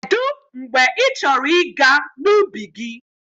Kedụ mgbe ị chọrọ ịga n'ubi gị?